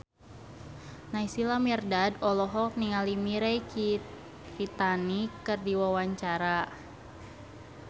Naysila Mirdad olohok ningali Mirei Kiritani keur diwawancara